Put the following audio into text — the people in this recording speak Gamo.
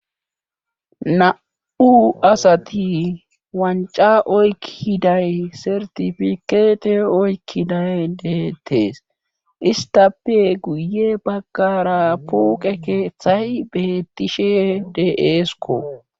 Na'u asati wanca oykkiday sertifikeete oykkiday deettees istappe guye baggara puqe keeththay beettishe de'esko.